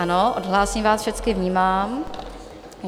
Ano, odhlásím vás všechny, vnímám.